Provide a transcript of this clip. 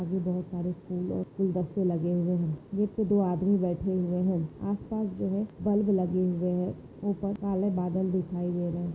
और भी बहुत सारे फूल और फूल दस्ते लगे हुए है एक दो आदमी बैठे हुए है आसपास जो है बल्ब लगे हुए है ऊपर काले बादल दिखाई दे रहे है।